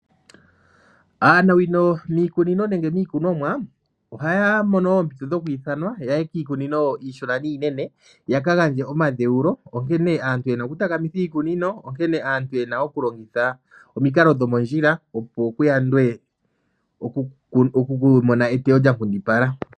Aanawino miikunomwa ohaya mono oompito dhokwiithanwa ya ye kiikunino iishona niinene ya ka gandje omadheulo onkene aantu ye na okutakamitha iikunino onkene aantu ye na okulongitha omikalo dhomondjila, opo ku yandwe okumona eteyo lyankundipala.